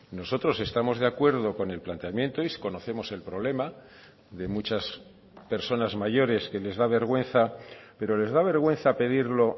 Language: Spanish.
nosotros estamos de acuerdo con el planteamiento y conocemos el problema de muchas personas mayores que les da vergüenza pero les da vergüenza pedirlo